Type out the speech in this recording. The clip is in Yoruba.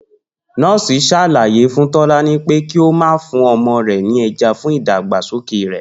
Nó̩ò̩sì sàlàyé fún Tó̩lání pé kí ó máa fún o̩mo̩ rè̩ ní e̩ja fún ìdàgbàsókè rè